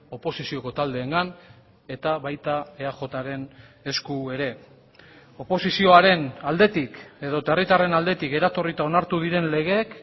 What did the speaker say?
oposizioko taldeengan eta baita eajren esku ere oposizioaren aldetik edota herritarren aldetik eratorrita onartu diren legeek